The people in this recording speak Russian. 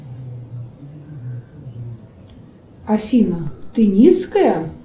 афина ты низкая